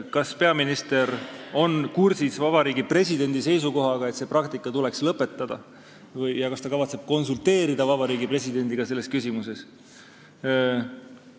Kas peaminister on kursis Vabariigi Presidendi seisukohaga, et see praktika tuleks lõpetada, ja kas ta kavatseb konsulteerida Vabariigi Presidendiga selles küsimuses?